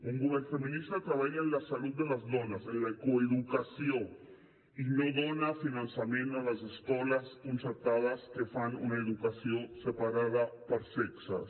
un govern feminista treballa en la salut de les dones en la coeducació i no dona finançament a les escoles concertades que fan una educació separada per sexes